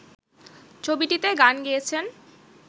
ছবিটিতে গান গেয়েছেন